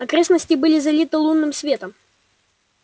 окрестности были залиты лунным светом